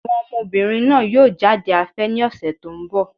Àwọn ọmọbìnrin náà yóò jáde afẹ́ ní ọ̀sẹ̀ tó ń bọ̀.